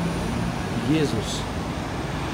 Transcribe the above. Jezus!